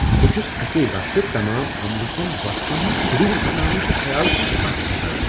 بہٕ چُھس اکی وقتہٕ تمام عملہ کٮ۪ن وقفن ہنٛد شیڈول بناونہٕ کہ خیال سۭتۍ پتھ كھسان ۔